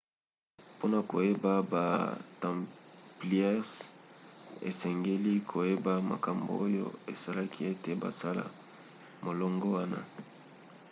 mpona koyeba ba templiers esengeli koyeba makambo oyo esalaki ete basala molongo wana